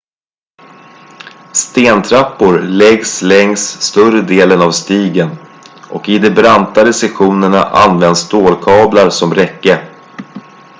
stentrappor läggs längs större delen av stigen och i de brantare sektionerna används stålkablar som räcke